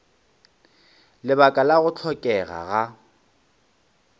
lebaka la go hlokega ga